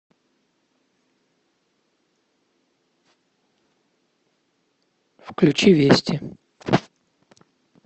включи вести